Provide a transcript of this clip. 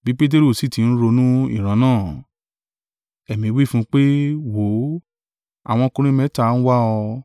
Bí Peteru sì ti ń ronú ìran náà, Ẹ̀mí wí fún un pé, “Wò ó, àwọn ọkùnrin mẹ́ta ń wá ọ.